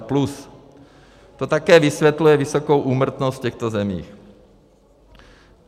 To také vysvětluje vysokou úmrtnost v těchto zemích.